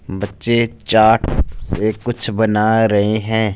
बच्चे चार्ट से कुछ बना रहे हैं।